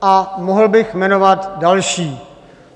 A mohl bych jmenovat další.